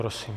Prosím.